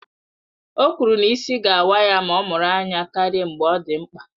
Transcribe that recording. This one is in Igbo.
O kwuru na ịsị ga-awa ya ma ọ mụrụ anya karịa mgbe ọ dị mkpa